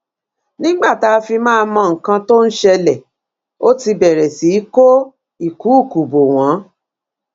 nígbà tá a fi máa mọ nǹkan tó ń ṣẹlẹ ó ti bẹrẹ sí í kó ìkúùkù bò wọn